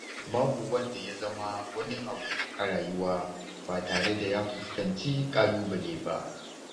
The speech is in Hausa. Babu wanda ya zama wani abu a rayuwa ba tare da ya fuskanci ƙalubale ba.